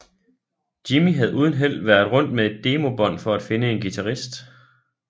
Jimmy havde uden held været rundt med et demobånd for at finde en guitarist